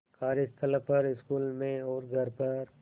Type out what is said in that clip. कार्यस्थल पर स्कूल में और घर पर